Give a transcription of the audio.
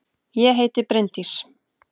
Ég heiti Bryndís!